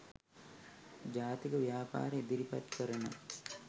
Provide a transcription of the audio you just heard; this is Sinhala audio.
ජාතික ව්‍යාපාරය ඉදිරිපත් කරන